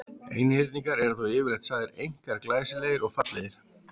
Einhyrningar eru þó yfirleitt sagðir einkar glæsilegir og fallegir.